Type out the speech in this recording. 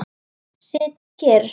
Sit kyrr.